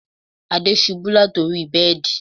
Ade ṣubú láti orí bẹ́ẹ̀dì